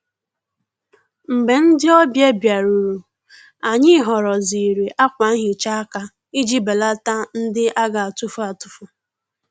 Mgbè ndị́ ọ́bị̀à bìárùrù, ànyị́ họ́rọ́zìrì ákwà nhị́chá áká ìjí bèlàtá ndị́ á gà-àtụ́fù àtụ́fù.